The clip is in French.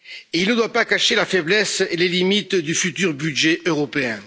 Il ne doit pas cacher la faiblesse ou les limites du futur budget européen.